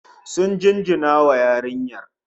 Sun jinjina wa yarinyar